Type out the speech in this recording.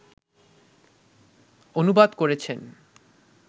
অনুবাদ করেছেন